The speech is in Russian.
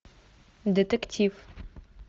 детектив